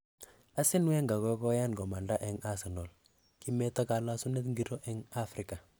Arsene Wenger kokoyan komanda eng Arsenal, kimeto kalosunet ingiro eng Africa?